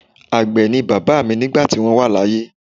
Àgbẹ̀ ni bàbá mi nígbà tí wọ́n wà láyé.